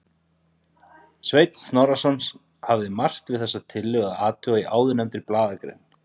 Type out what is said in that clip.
Sveinn Snorrason hafði margt við þessa tillögu að athuga í áðurnefndri blaðagrein.